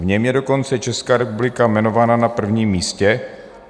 V něm je dokonce Česká republika jmenována na prvním místě.